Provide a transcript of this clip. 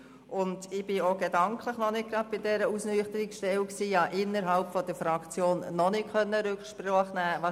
Ich war auch gedanklich noch nicht bei dieser Ausnüchterungsstelle und konnte innerhalb der Fraktion noch nicht Rücksprache nehmen.